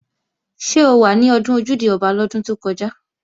Ṣé o wà ní ọdún Ojúde-Ọba lọ́dún tó kọjá?